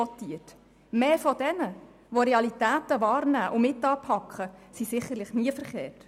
Diejenigen, die Realitäten wahrnehmen und mitanpacken, liegen sicherlich nicht falsch.